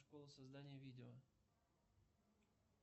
школа создания видео